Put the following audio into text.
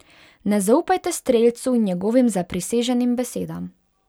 Ne zaupajte strelcu in njegovim zapriseženim besedam.